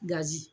Gazi